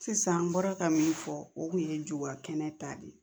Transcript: Sisan an bɔra ka min fɔ o kun ye jogo kɛnɛ ta de ye